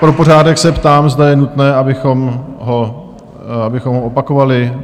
Pro pořádek se ptám, zda je nutné, abychom ho opakovali?